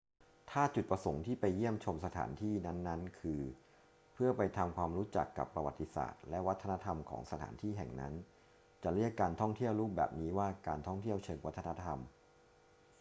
ถ้าจุดประสงค์ที่ไปเยี่ยมชมสถานที่นั้นๆ คือเพื่อไปทำความรู้จักกับประวัติศาสตร์และวัฒนธรรมของสถานที่แห่งนั้น จะเรียกการท่องเที่ยวรูปแบบนี้ว่าการท่องเที่ยวเชิงวัฒนธรรม